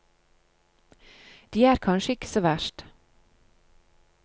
De er kanskje ikke så verst.